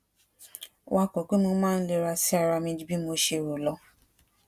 wakò pé mo máa ń lera sí ara mi ju bí mo ṣe rò lọ